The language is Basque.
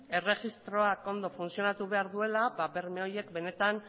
erregistroak ondo funtzionatu behar duela berme horiek benetan